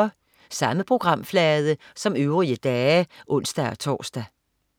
Samme programflade som øvrige dage (ons-tors)